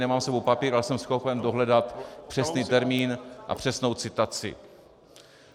Nemám s sebou papír, ale jsem schopen dohledat přesný termín a přesnou citaci.